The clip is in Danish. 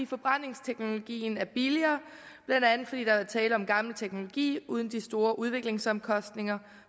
forbrændingsteknologien er billigere blandt andet fordi der er tale om gammel teknologi uden de store udviklingsomkostninger